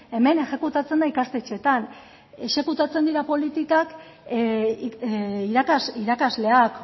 hemen exekutatzen da ikastetxeetan exekutatzen dira politikak irakasleak